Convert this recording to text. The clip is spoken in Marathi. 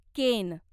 केन